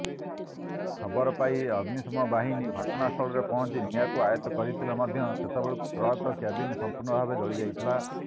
ଖବରପାଇ ଅଗ୍ନିଶମବାହିନୀ ଘଟଣାସ୍ଥଳରେ ପହଞ୍ଚି ନିଆଁକୁ ଆୟତ୍ତ କରିଥିଲେ ମଧ୍ୟ ସେତେବେଳକୁ ଟ୍ରକର କ୍ୟାବିନ ସମ୍ପୂର୍ଣ୍ଣ ଭାବେ ଜଳିଯାଇଥିଲା